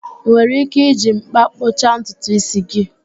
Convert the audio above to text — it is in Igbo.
Ị nwere ike iji m̀kpá kpụcha ntutu ísí gị